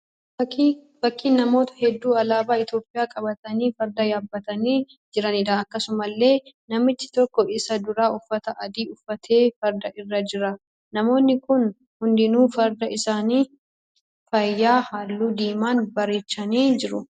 Fakkiin namoota hedduu alaabaa Itiyoopiyaa qabatanii farda yaabbatanii jiraniidha. Akkasumallee namichi tokko isaan duraa uffata adii uffatee farda irra jira. Namoonni kun hundinuu farda isaanii faaya halluu diimaan bareechanii jiru.